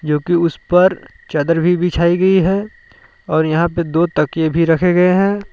जो कि उस पर चादर भी बिछाई गई है और यहां पे दो तकिए भी रखें गए हैं।